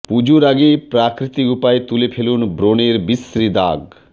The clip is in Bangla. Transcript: পুজোর আগে প্রাকৃতিক উপায়ে তুলে ফেলুন ব্রণের বিশ্রী দাগ